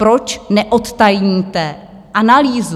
Proč neodtajníte analýzu?